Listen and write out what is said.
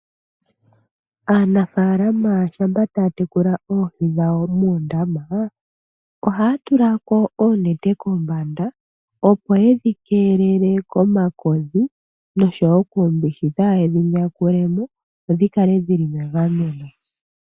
Aanafaalama mboka taya tekula oohi dhawo ohaya tula ko oonete kombanda, opo yedhi keelele komakodhi noshowo kuumbishi kaa yedhi yakule mo, dho dhi kale dhili megameno.